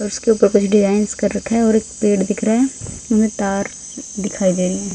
उसके ऊपर कुछ डिजााइंस कर रखा है और एक पेड़ दिख रहा है हमें तार दिखाई दे रही हैं।